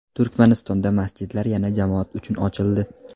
Turkmanistonda masjidlar yana jamoat uchun ochildi.